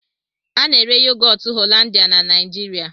A na-ere yogọtu Hollandia na Naịjirịa.